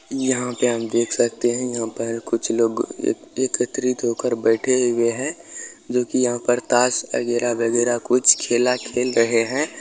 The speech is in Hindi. यहाँ पे हम देख सकते है यहां पर कुछ लोग एकत्रित होकर बैठे हुए है जो की यह पर ताश आगेरा-बगेरा कुछ खेला खेल रहे है।